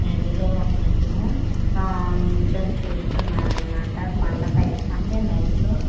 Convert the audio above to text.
నదిలో ఒక అతను ఆ నిల్చొని చూస్తున్నారు అన్నమాట అంటే కొండ పైన అంటే నది లో.